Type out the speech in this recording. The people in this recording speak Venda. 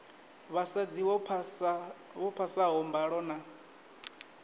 vhasadzi vho phasaho mbalo na